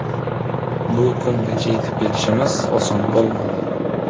Bu kungacha yetib kelishimiz oson bo‘lmadi.